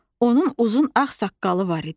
Onun uzun ağ saqqalı var idi.